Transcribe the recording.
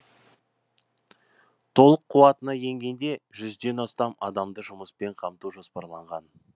толық қуатына енгенде жүзден астам адамды жұмыспен қамту жоспарланған